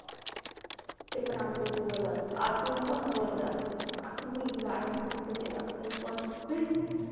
ते पण आमच्या इथे उगवले जातात, अजून पण उगवले जातात. अस नाही की झाड फक्त तिथच येतात, काही पण